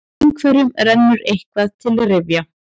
Einhverjum rennur eitthvað til rifja